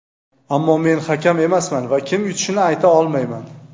Ammo men hakam emasman va kim yutishini ayta olmayman.